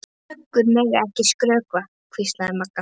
Löggur mega ekki skrökva, hvíslaði Magga.